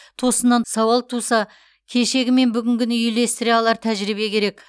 тосыннан сауал тұса кешегі мен бүгінгіні үйлестіре алар тәжірибе керек